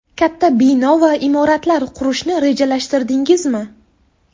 Katta bino va imoratlar qurishni rejalashtirdingizmi?